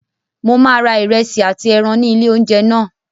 Mo máa ra ìrẹsì àti ẹran ní ilé oúnjẹ náà.